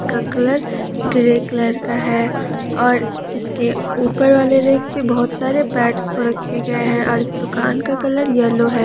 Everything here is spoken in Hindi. का कलर ग्रे कलर का है और इसके ऊपर वाले रैक पे बहुत सारे पेड्स रखे गए हैं और दुकान का कलर येलो है।